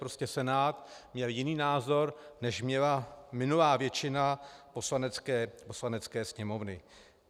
Prostě Senát měl jiný názor, než měla minulá většina Poslanecké sněmovny.